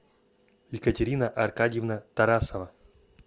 екатерина аркадьевна тарасова